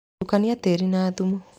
Tukania tĩri na thumu.